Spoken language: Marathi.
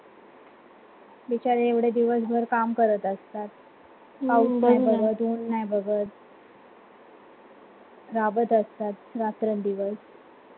विचार एवढे दिवस भर काम करत असतात पाऊस नाही बघत उन्न नाही बघत जगत असतात रात्रंदिवस